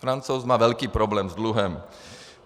Francouz má velký problém s dluhem.